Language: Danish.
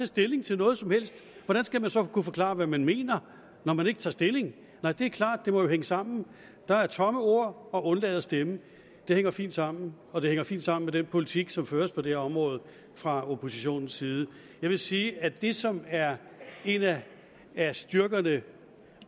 stilling til noget som helst hvordan skal man så kunne forklare hvad man mener når man ikke tager stilling nej det er klart det må jo hænge sammen der er tomme ord og man undlader at stemme det hænger fint sammen og det hænger fint sammen med den politik som føres på det her område fra oppositionens side jeg vil sige at det som er en af styrkerne